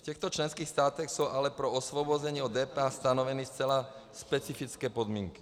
V těchto členských státech jsou ale pro osvobození od DPH stanoveny zcela specifické podmínky.